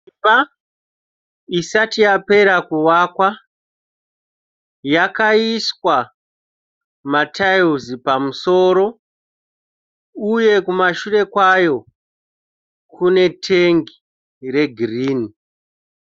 Imba isati yapera kuvakwa. Yakaiswa matayiwuzi pamusoro. Uye kumashure kwayo kune tengi re girini.